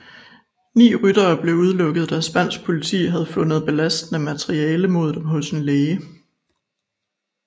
Ni ryttere blev udelukket da spansk politi havde fundet belastende materiale mod dem hos en læge